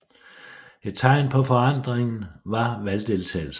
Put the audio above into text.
Et tegn på forandringen var valgdeltagelsen